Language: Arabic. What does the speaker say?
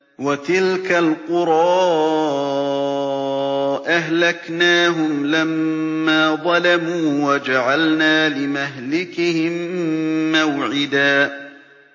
وَتِلْكَ الْقُرَىٰ أَهْلَكْنَاهُمْ لَمَّا ظَلَمُوا وَجَعَلْنَا لِمَهْلِكِهِم مَّوْعِدًا